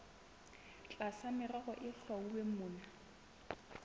tlasa merero e hlwauweng mona